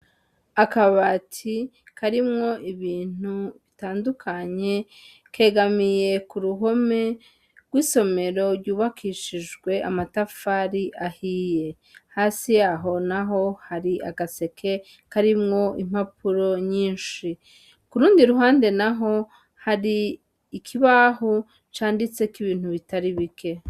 Akabati karimwo ibintu bitandukanye kegamiye ku ruhome rw'isomero ryubakishijwe amatafari ahiye hasi yaho na ho hari agaseke karimwo impapuro nyinshi ku rundi ruhande na ho hari ikibaho canditse ko ibintu bitari bike.